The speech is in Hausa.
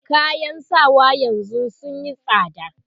kayan sawa yanzun sunyi tsada